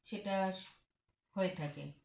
সেটাস হয়ে থাকে